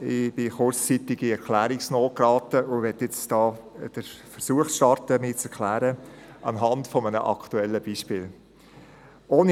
Ich geriet kurzzeitig in Erklärungsnot und starte hier den Versuch, mich anhand eines aktuellen Beispiels zu erklären.